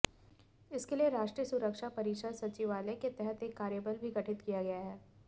इसके लिए राष्ट्रीय सुरक्षा परिषद सचिवालय के तहत एक कार्यबल भी गठित किया गया है